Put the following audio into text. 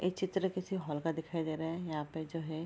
ये चित्र किसी हॉल का दिखाई दे रहा है यहाँ पे जो है।